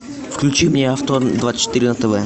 включи мне авто двадцать четыре на тв